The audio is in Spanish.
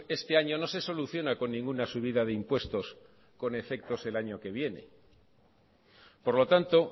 este año no se soluciona con ninguna subida de impuestos con efectos el año que viene por lo tanto